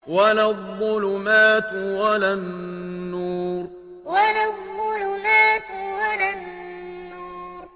وَلَا الظُّلُمَاتُ وَلَا النُّورُ وَلَا الظُّلُمَاتُ وَلَا النُّورُ